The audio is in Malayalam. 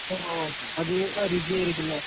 ഓഹ് അതീവ രുചിയായിരിക്കും അല്ലെ